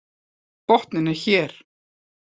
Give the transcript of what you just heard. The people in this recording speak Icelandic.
Botninn er hér!